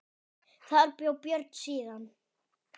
Þar bjó Björn síðan.